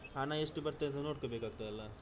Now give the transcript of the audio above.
ಹಣ ಎಷ್ಟು ಬರ್ತದೆ ನೋಡ್ಕೊಬೇಕಾಗ್ತದೆ ಅಲ್ಲಾ.